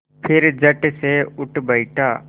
फिर झटसे उठ बैठा